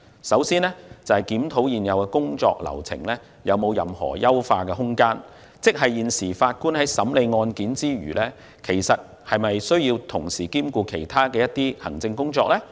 首先，要檢討現有的工作流程有否優化空間，即法官除審理案件外，是否要同時兼顧其他行政工作。